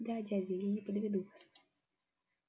да дядя я не подведу вас